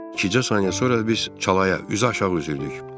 İkicə saniyə sonra biz çalaya üzü aşağı üzürdük.